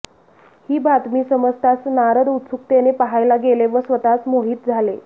ही बातमी समजताच नारद उत्सुकतेने पहायला गेले व स्वतःच मोहित झाले